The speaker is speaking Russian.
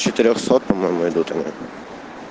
четырёхсот по-моему идут ему